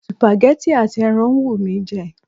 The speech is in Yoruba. Supagẹ́tì àti ẹran ń wù mí jẹ.